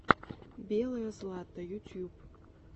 белое злато ютьюб